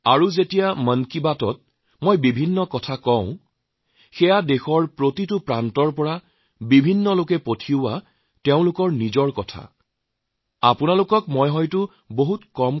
আৰু যেতিয়া মন কী বাতৰ কথা কওঁ তেতিয়া দেশৰ প্ৰতিটো কোণত যিসকল লোকে তেওঁলোকৰ মনৰ ভাৱ আমালৈ প্ৰেৰণ কৰে